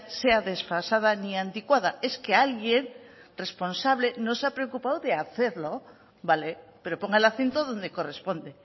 sea desfasada ni anticuada es que alguien responsable no se ha preocupado de hacerlo vale pero ponga el acento donde corresponde